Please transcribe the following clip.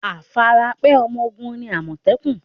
Afarapẹ́ ọmọ ogun ni àmọ̀tẹ́kùn.